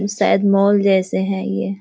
शायद मॉल जैसे हैं ये।